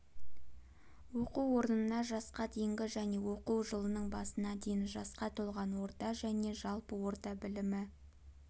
оқу орнына жасқа дейінгі және оқу жылының басына дейін жасқа толған орта және жалпы орта білімі